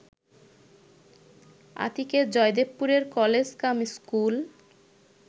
আতিকের জয়দেবপুরের college cum school